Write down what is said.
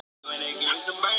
Hann var fimmtugur að aldri